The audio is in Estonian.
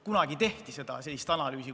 Kunagi tehti sellist analüüsi.